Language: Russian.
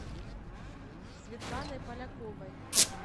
светланой поляковой